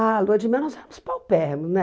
A lua de mel nós éramos paupérrimos, né?